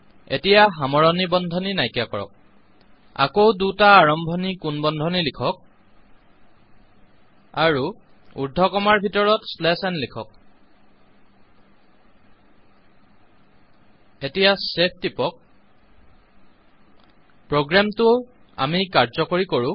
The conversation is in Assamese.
এতিয়া সামৰণি বন্ধনী নায়্কীয়া কৰক আকৌ দুটা আৰম্ভণী কোণ বন্ধনী লিখক আৰু দুটা উৰ্দ্ধকমাৰ ভিতৰত ন লিখক এতিয়া ছেভ টিপক প্ৰোগ্ৰামটো আমি কাৰ্যকৰীকৰো